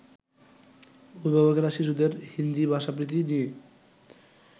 অভিভাবকেরা শিশুদের হিন্দী ভাষাপ্রীতি নিয়ে